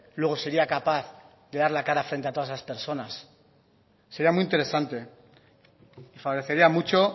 luego sería capaz de dar la cara frente a todas esas personas sería muy interesante favorecería mucho